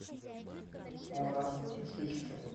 мурат жичкин